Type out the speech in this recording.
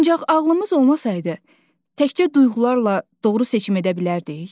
Ancaq ağlımız olmasaydı, təkcə duyğularla doğru seçim edə bilərdik?